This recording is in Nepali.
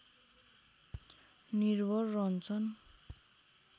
निर्भर रहन्छन्